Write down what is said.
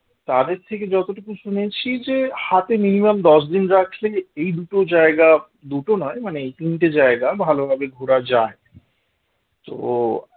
তাদের থেকে যতটুকু শুনেছি যে হাতে minimum দশ দিন রাখলে এই দুটো জায়গা দুটো নয় মানে তিনটে জায়গা ভালোভাবে ঘোড়া যায় তো